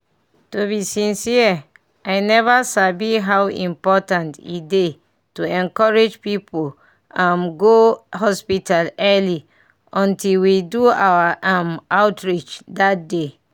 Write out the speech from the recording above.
to be sincere i never sabi how important e dey to encourage people um go hospital early until we do our um outreach that day.